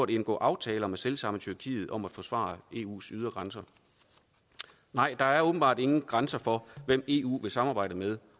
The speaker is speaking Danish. indgå aftaler med selv samme tyrkiet om at forsvare eus ydre grænser nej der er åbenbart ingen grænser for hvem eu vil samarbejde med